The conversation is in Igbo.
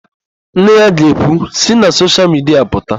Nne ya ga-ekwu, "si na soshial midia pụta"!